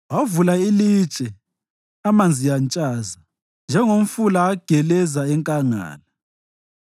Wavula ilitshe amanzi antshaza; njengomfula ageleza enkangala.